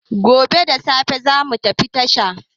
Gobe da sassafe za mu tafi tasha.